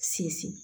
Sinsin